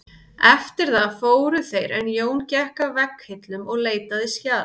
Eftir það fóru þeir en Jón gekk að vegghillum og leitaði skjala.